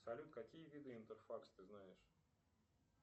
салют какие виды интерфакс ты знаешь